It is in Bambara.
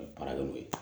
baara kɛ n'o ye